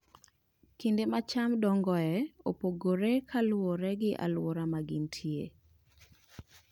Kinde ma cham dongoe opogore kaluwore gi alwora ma gintie.